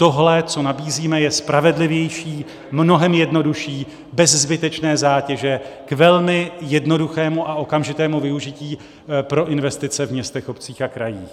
Tohle, co nabízíme, je spravedlivější, mnohem jednodušší, bez zbytečné zátěže, k velmi jednoduchému a okamžitému využití pro investice v městech, obcích a krajích.